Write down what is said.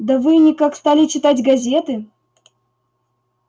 да вы никак стали читать газеты